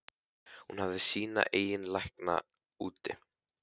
Hún hefði sína eigin lækna úti.